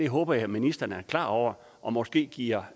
håber jeg ministeren er klar over og måske giver